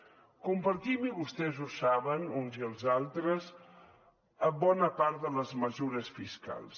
compartim i vostès ho saben uns i els altres bona part de les mesures fiscals